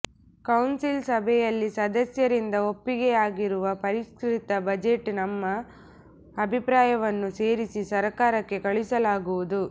council ಸಭೆಯಲ್ಲಿ ಸದಸ್ಯರಿಂದ ಒಪ್ಪಿಗೆಯಾಗಿರುವ ಪರಿಷ್ಕೃತ ಬಜೆಟ್ಗೆ ನಮ್ಮ ಅಭಿಪ್ರಾಯವನ್ನೂ ಸೇರಿಸಿ ಸರ್ಕಾರಕ್ಕೆ ಕಳುಹಿಸಲಾಗುವುದು